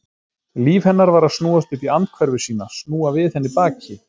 Líf hennar var að snúast upp í andhverfu sína, snúa við henni baki.